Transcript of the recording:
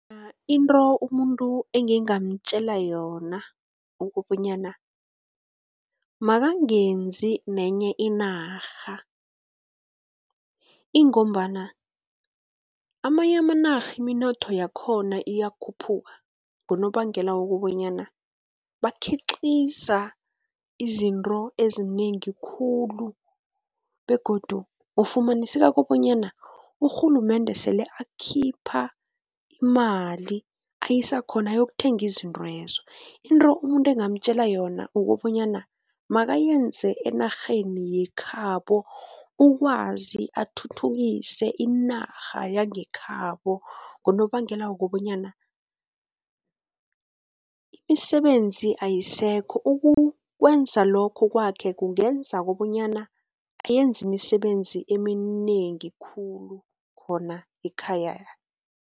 Into umuntu engingamtjela yona, ukobonyana, akangenze nenye inarha, ingombana amanye amanarha imnotho yakhona iyakhuphuka, ngonobangela wokobanyana bakhiqiza izinto ezinengi khulu, begodu kufumaniseka kobonyana urhulumende sele akhipha imali, ayisa khona ayokuthenga izintwezo. Into umuntu engingamtjela yona kukobanyana akayenze enarheni yekhabo, ukwazi athuthukise inarha yangekhabo, ngonobangela wokobanyana imisebenzi ayisekho. Ukwenza lokho kwakhe kungenza kobonyana ayenze imisebenzi eminengi khulu khona ekhaya.